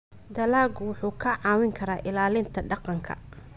Dalaggu wuxuu kaa caawin karaa ilaalinta deegaanka.